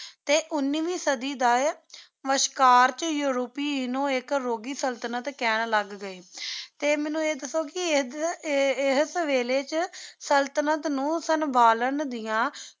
T ਉਨੀ ਵੇ ਸਾਡੀ ਦਾ ਵਾਸ਼੍ਕਰ ਵਿਚ ਯੂਰੋਪੀ ਨੂ ਆਇਕ ਰੋਗੀ ਸਲ੍ਤਨਤ ਕਹਨ ਲਾਗ ਗਏ ਟੀ ਮੇਨੂ ਆਯ ਦਸੋ ਕੀ ਇਸ ਵੇਲੀ ਵਿਚ ਸੁਲ੍ਤ੍ਨਤ ਨੂ ਸੰਭਾਲਾਂ ਦਿਯਾ